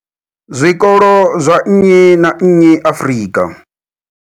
zwikolo zwa nnyi na nnyi Afrika.